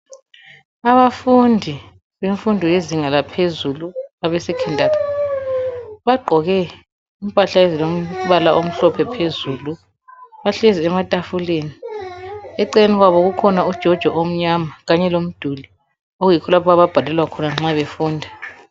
Abafundi bemfundo yezinga laphezulu abesekhondari bagqoke impahla izilombala omhlophe phezulu bahlezi ematafuleni , eceleni kwabo kukhona ijojo omnyama Kanye lomduli okuyikho lapho ababhalelwa khona nxa befunda.